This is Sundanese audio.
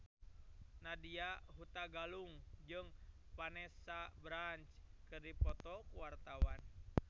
Nadya Hutagalung jeung Vanessa Branch keur dipoto ku wartawan